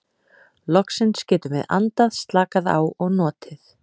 Loksins getum við andað, slakað á og notið.